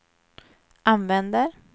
använder